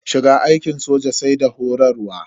Shiga aikin soja sai da horarwa.